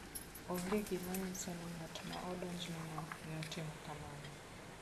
Onge gima nyiso ni ng'at ma odonjneno ne otimo kamano.